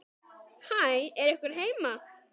Hæ, er einhver heima?